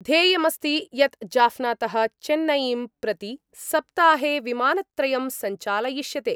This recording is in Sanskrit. ध्येयमस्ति यत् जाफनातः चेन्नईं प्रति सप्ताहे विमानत्रयं संचालयिष्यते।